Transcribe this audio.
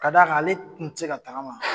Ka da kan ale tun tɛ se ka tagama.